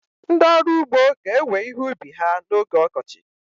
Ndị ọrụ ugbo ga-ewe ihe ubi ha n'oge ọkọchị.